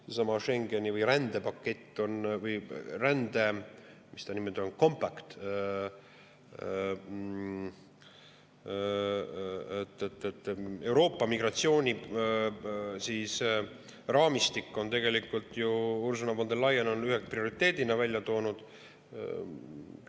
Seesama Schengeni või rändepakett või rände-, mis ta on, compact, Euroopa migratsiooniraamistik – Ursula von der Leyen on selle ühe prioriteedina välja toonud.